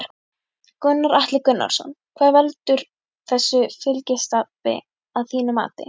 Gunnar Atli Gunnarsson: Hvað velur þessu fylgistapi að þínu mati?